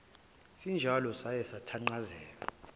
sinjalo saye sathanqazeka